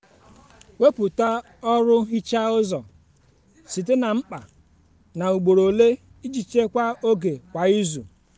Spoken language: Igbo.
wepụta ọrụ nhicha ụzọ site na mkpa na ugboro ole iji chekwaa oge kwa izu.